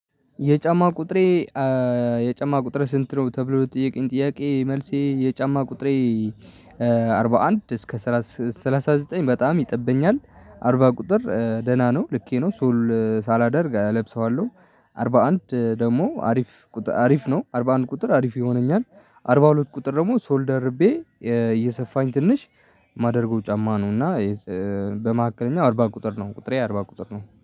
የጫማ ቁጥሬ የጫማ ቁጥሬ ስንት? ነው ተብሎ ለጠየቄኝ ጥያቄ መልሴ የጫማ ቁጥሬ። እስከ ሰላሳ ዘጠኝ በጣም ይጠበኛል አርባ ቁጥር ደህና ነው ልኬ ነው ሱል ሳላደርግ አለብሰዋለሁ። አርባ አንድ ደግሞ አሪፍ አሪፍ ነው አርባ አንድ ቁጥር አሪፍ ይሆነኛል። አርባ ሁለት ቁጥር ደግሞ ሶል ደርቤ እየሰፋኝ ትንሽ ማደርገው ጫማ ነው። እና በመካከለኛ አርባ ቁጥር ነው ቁጥሬ አርባ ቁጥር ነው